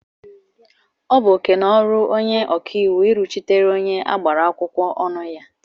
Ọ bụ oke na ọrụ onye ọkàiwu iriọchitere onye agbara akwụkwọ ọnụ ya.